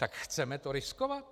Tak chceme to riskovat?